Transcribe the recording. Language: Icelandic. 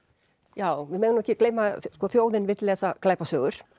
já við megum ekki gleyma að þjóðin vill lesa glæpasögur